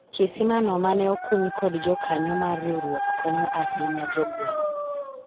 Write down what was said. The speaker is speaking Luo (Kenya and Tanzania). kisima no mane okuny kod jokanyo mar riwruok konyo ahinya jogweng'